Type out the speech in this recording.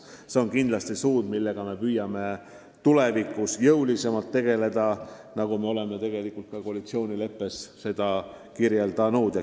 See on kindlasti valdkond, millega me püüame tulevikus jõulisemalt tegeleda, nagu me oleme tegelikult ka koalitsioonileppesse kirja pannud.